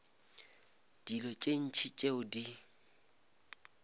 dilo tše ntši tšeo di